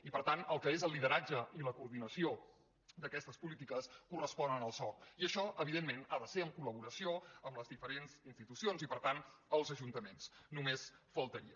i per tant el que és el lideratge i la coordinació d’aquestes polítiques correspon al soc i això evidentment ha de ser en coldiferents institucions i per tant els ajuntaments només faltaria